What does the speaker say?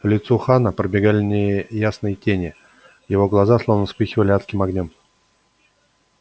по лицу хана пробегали неясные тени его глаза словно вспыхивали адским огнём